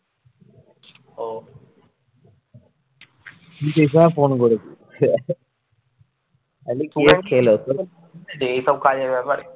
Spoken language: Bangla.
এইসব কাজের ব্যাপার